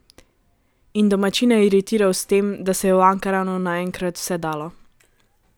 In domačine iritiral s tem, da se je v Ankaranu naenkrat vse dalo.